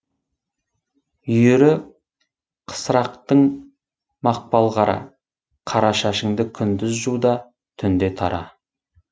үйірі қысырақтың мақпал қара қара шашыңды күндіз жу да түнде тара